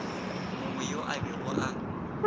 mongwe yo a bego a